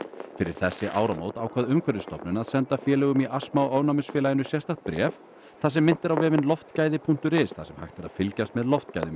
fyrir þessi áramót ákvað Umhverfisstofnun að senda félögum í astma og sérstakt bréf þar sem minnt er á vefinn loftgæði punktur is þar sem hægt er að fylgjast með loftgæðum í